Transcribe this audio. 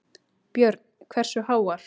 Björn: Hversu háar?